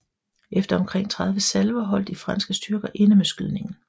Efter omkring 30 salver holdt de franske styrker inde med skydningen